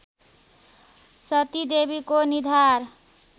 सतीदेवीको निधार